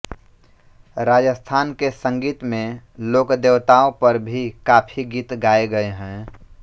राजस्थान के संगीत में लोकदेवताओं पर भी काफी गीत गाये गए हैं